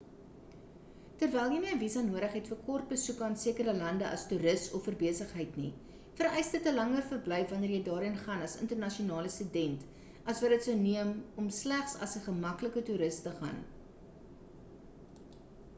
terwyl jy nie 'n visa nodig het vir kort besoeke aan sekere lande as toeris of vir besigheid nie vereis dit 'n langer verblyf wanneer jy daarheen gaan as internasionale student as wat dit sou neem om slegs as 'n gemaklike toeris te gaan